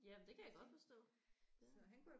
Jamen det kan jeg godt forstå ja